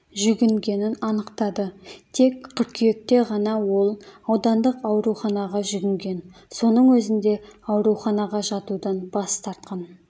жүгінгенін анықтады тек қыркүйекте ғана ол аудандық ауруханаға жүгінген соның өзінде ауруханаға жатудан бас тартқан